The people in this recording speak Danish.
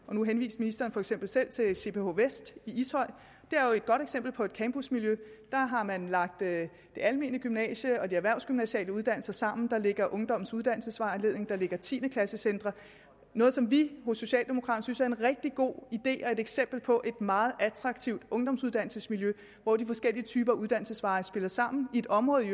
nu henviste ministeren for eksempel selv til cph west i ishøj og et godt eksempel på et campusmiljø der har man lagt det almene gymnasium og de erhvervsgymnasiale uddannelser sammen der ligger ungdommens uddannelsesvejledning der ligger tiende klasse centre noget som vi hos socialdemokraterne synes er en rigtig god idé og et eksempel på et meget attraktivt ungdomsuddannelsesmiljø hvor de forskellige typer af uddannelsesveje spiller sammen i et område i